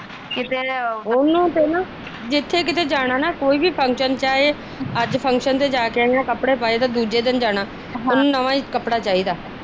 ਕਿਤੇ ਉਹਨੂੰ ਤੇ ਨਾ ਜਿਥੇ ਕਿਤੇ ਜਾਣਾ ਕੋਈ ਵੀ ਫੰਕਸ਼ਨ ਚਾਹੇ ਅੱਜ ਫੰਕਸ਼ਨ ਜਾਕੇ ਤੇ ਦੂਜੇ ਦਿਨ ਜਾਣਾ ਉਹਨੂੰ ਨਵਾ ਈ ਕੱਪੜਾ ਚਾਹੀਦਾ।